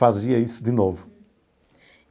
fazia isso de novo.